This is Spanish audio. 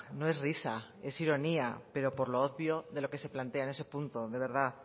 no es risa es ironía pero por lo obvio de lo que se plantea en ese punto de verdad